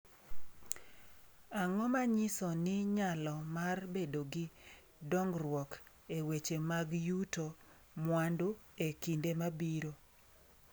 Ang’o ma nyiso ni nyalo mar bedo gi dongruok e weche mag yuto mwandu e kinde mabiro?